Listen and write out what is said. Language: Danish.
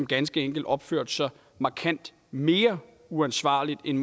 ganske enkelt opførte sig markant mere uansvarligt end